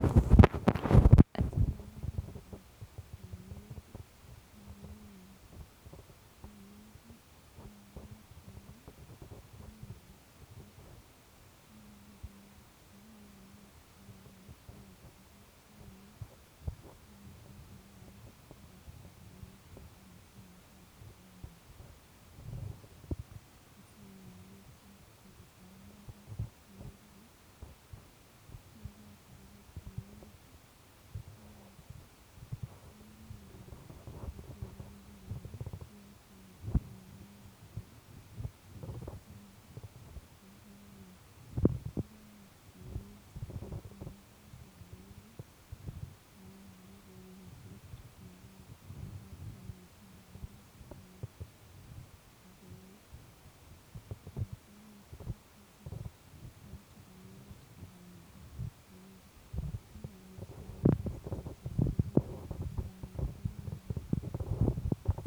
Ochon en ngokaikab gaa ak chebo banyek cheichome ibai?